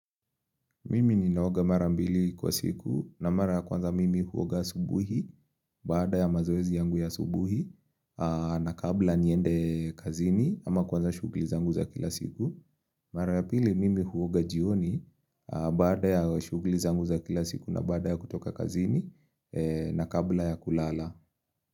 Mimi ninaoga marambili kwa siku na mara ya kwanza mimi huoga asubuhi baada ya mazoezi yangu ya asubuhi na kabla niende kazini ama kuanza shughuli zangu za kila siku. Mara ya pili mimi huoga jioni baada ya shughuli zangu za kila siku na baada ya kutoka kazini na kabla ya kulala.